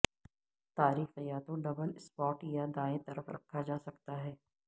تاریخ یا تو ڈبل سپاڈ یا دائیں طرف رکھا جا سکتا ہے